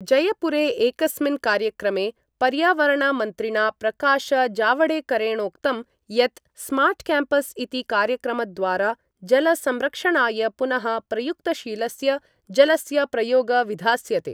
जयपुरे एकस्मिन् कार्यक्रमे पर्यावरणमन्त्रिणा प्रकाशजावड़ेकरेणोक्तं यत् स्मार्ट्क्याम्पस् इति कार्यक्रमद्वारा जलसंरक्षणाय पुनः प्रयुक्तशीलस्य जलस्य प्रयोग विधास्यते।